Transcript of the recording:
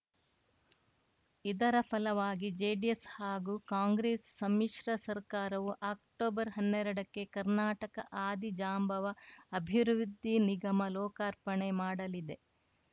ಇದರ ಫಲವಾಗಿ ಜೆಡಿಎಸ್‌ ಹಾಗೂ ಕಾಂಗ್ರೆಸ್‌ ಸಮ್ಮಿಶ್ರ ಸರ್ಕಾರವು ಅಕ್ಟೊಬರ್ಹನ್ನೆರಡಕ್ಕೆ ಕರ್ನಾಟಕ ಆದಿಜಾಂಬವ ಅಭಿವೃದ್ಧಿ ನಿಗಮ ಲೋಕಾರ್ಪಣೆ ಮಾಡಲಿದೆ